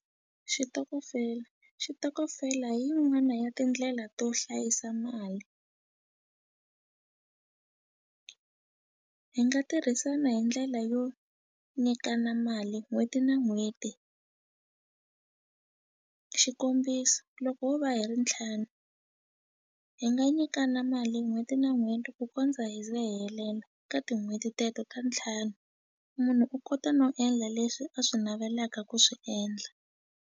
Xitokofela xitokofela hi yin'wani ya tindlela to hlayisa mali hi nga tirhisana hi ndlela yo nyikana mali n'hweti na n'hweti xikombiso loko ho va hi ri ntlhanu hi nga nyikana mali n'hweti na n'hweti ku kondza hi ze hi helela ka tin'hweti teto ta ntlhanu munhu u kota no endla leswi a swi navelaka ku swi endla.